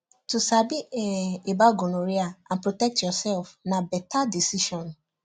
to sabi um about gonorrhea and protect yourself na better decision